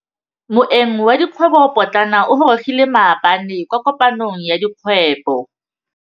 Moêng wa dikgwêbô pôtlana o gorogile maabane kwa kopanong ya dikgwêbô.